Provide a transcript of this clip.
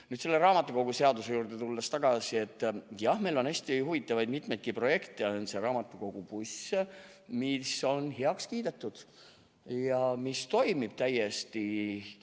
Nüüd, selle raamatukoguseaduse juurde tagasi tulles, siis jah, meil on mitmeid hästi huvitavaid projekte – on raamatukogubuss, mis on heaks kiidetud ja mis toimib täiesti.